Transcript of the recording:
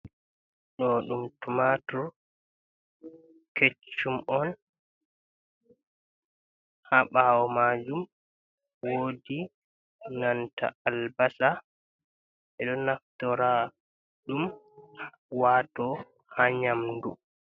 do dum tumatur keccum on, ha bawo majum wodi nanta albasa, bedo naftora ɗum wato ha nyamdu.